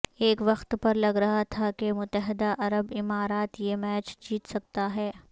ایک وقت پر لگ رہا تھا کہ متحدہ عرب امارات یہ میچ جیت سکتا ہے